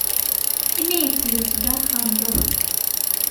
имеется ли у тебя архангел